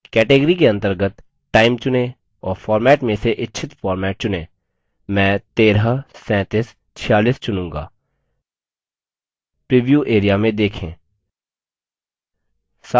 category के अंतर्गत time चुनें और format में से इच्छित format चुनें मैं 133746 चुनूँगा प्रीव्यू area में देखें